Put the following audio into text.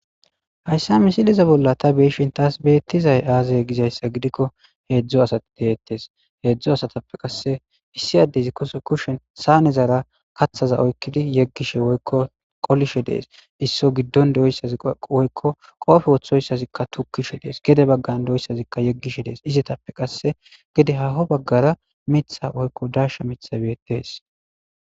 Hayssa misiliza bolla ta beishin taas beettizay aazay gizayssa gidikko heedzdzo asati deettes heedzdzo asatappe qasse issi addezi kushen saanezara kaththaza oykkidi yeggishe woykko qolishe dees isso giddon doyssaziwoykko qoofe woththoyssazikka tukishe dees gede baggan doyssazikka yeggishe dees izetappe qasse gede haho baggara mitha woykko darsha mitha beettees.